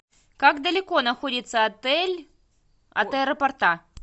как далеко находится отель от аэропорта